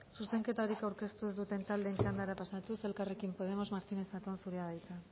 zuzenketarik aurkeztu ez duten taldeen txandara pasatuz elkarrekin podemos martínez zatón zurea da hitza